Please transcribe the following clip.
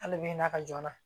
Hali bi n'a ka joona